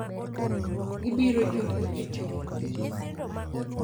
gibiro chopo e chokruogno.